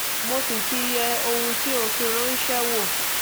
mo sì ti yẹ ohun tí o fi ránṣẹ́ wò